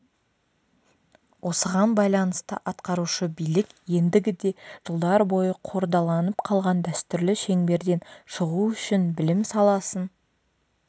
осыған байланысты атқарушы билік ендігіде жылдар бойы қордаланып қалған дәстүрлі шеңберден шығу үшін білім саласын